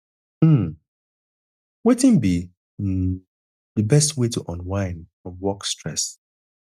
um wetin be um di best way to unwind from work stress